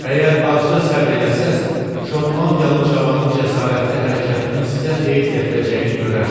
Əgər azca səbr eləsəz, Şotlandiyalı cavanın cəsarətli hərəkətinin sizə xeyir gətirəcəyini görərsiz.